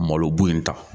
Malo b'o in ta